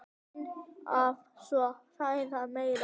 Laun hafa svo hækkað meira.